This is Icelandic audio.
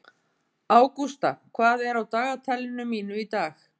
Ágústa, hvað er á dagatalinu mínu í dag?